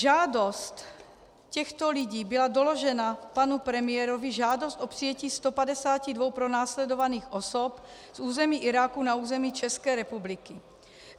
Žádost těchto lidí byla doložena panu premiérovi, žádost o přijetí 152 pronásledovaných osob z území Iráku na území České republiky.